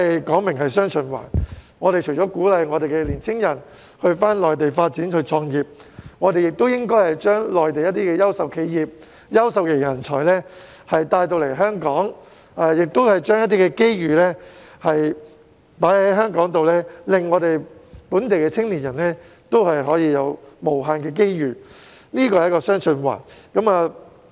既然是"雙循環"，除了鼓勵香港的青年人到內地發展及創業，亦應該把內地的優秀企業和人才帶來香港，把機遇放在香港，令本地的青年人可以有無限的機遇，這便是"雙循環"。